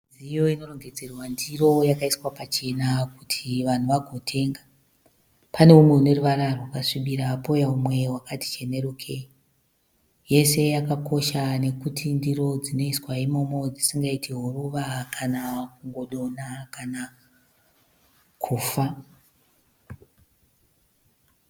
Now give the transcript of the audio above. Midziyo inorongedzerwa ndiro yakaiswa pachena kuti vanhu vagotenga. Pane umwe une ruvara rwakasvibira pouya umwe wakati chenerukei. Yese yakakosha nokuti ndiro dzinoiswa imomo dzisingaiti huruva kana kungo donha kana kufa.